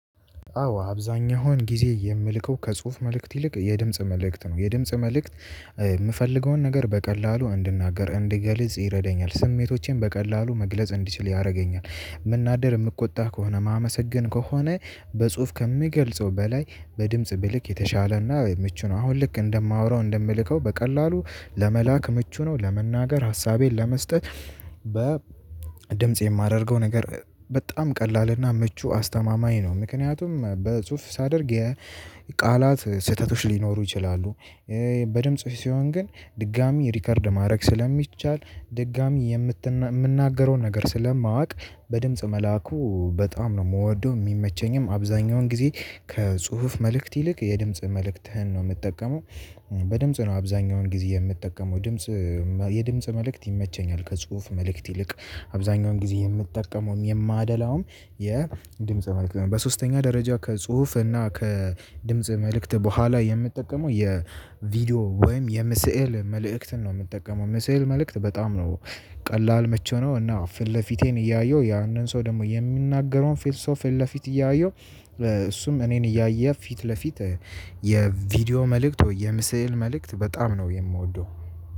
አዎ አብዛኛውን ጊዜ የምልከው ከጽሁፍ መልእክት ይልቅ የድምጽ መልእክት ነው የድምጽ መልእክት የምፈልገውን ነገር በቀላሉ እንድናገር እንድገልጽ ይረዳኛል ስሜቶቼን በቀላሉ መግለጽ እንዲችል ያደርገኛል። መናደር የምቆጣ ከሆነ ማመሰገን ከሆነ በጽሁፍ ከሚገልጸው በላይ በድምጽ ብልክ የተሻለና ምቹ ነው። አሁን ልክ እንደማወራው እንደምልከው በቀላሉ ለመላክ ምቹ ነው። ለመናገር ሀሳቤን ለመስጠት በ ድምጽ የማደርገው ነገር በጣም ቀላልና ምቹ አስተማማኝ ነው። ምክንያቱም በጽሁፍ ሳደርግ የቃላት ስህተቶች ሊኖሩ ይችላሉ። በድምጽ ሲሆን ግን ድጋሚ ሪከርድ ማድረግ ስለሚቻል ድጋሚ የምንናገረውን ነገር ስለማውቅ በድምጽ መላኩ በጣም ነው የምወደው የሚመቸኝም አብዛኛውን ጊዜ ከጽሁፍ መልእክት ይልቅ የድምጽ መልእክትህን ነው የምጠቀመው። በድምጽ ነው አብዛኛውን ጊዜ የምጠቀመው ድምጽ የድምጽ መልእክት ይመቸኛል። ከጽሁፍ መልእክት ይልቅ አብዛኛውን ጊዜ የምትጠቀመውም የማደላውም የድምጽ መልእክት በሶስተኛ ደረጃ ከጽሁፍ እና ከድምጽ መልእክት በኋላ የምጠቀመው የቪዲዮ ወይም የምስዕል መልእክትን ነው። የምትጠቀመው ምስዕል መልእክት በጣም ነው። ቀላል ምቺው ነው እና ፊት ለፊቴን እያየሁ ያንን ሰው ደግሞ የሚናገረውን ፊት ሶፊን ለፊት እያየው እሱም እኔን እያየ ፊት ለፊት። የቪዲዮ መልእክት ወይ የምስዕል መልእክት በጣም ነው የምወደው።